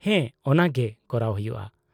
-ᱦᱮᱸ, ᱚᱱᱟᱜᱮ ᱠᱚᱨᱟᱣ ᱦᱩᱭᱩᱜᱼᱟ ᱾